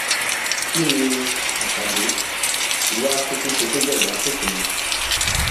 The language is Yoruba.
kín ní àkàdé wàá kúkú ṣe tó bẹẹ lásìkò yìí